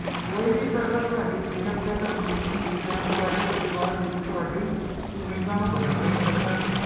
ਸ਼ੁਰੂ ਕਰਦੇ ਹੋ